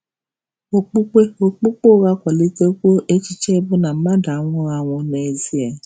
Okpukpe Okpukpe ụgha akwalitewo echiche bụ́ na mmadụ anwụghị anwụ n'ezie. um